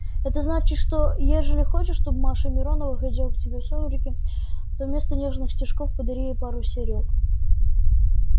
это значит что ежели хочешь чтоб маша миронова ходила к тебе в сумерки то вместо нежных стишков подари ей пару серёг